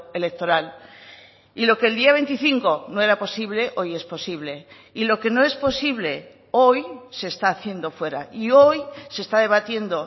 electoral y lo que el día veinticinco no era posible hoy es posible y lo que no es posible hoy se está haciendo fuera y hoy se está debatiendo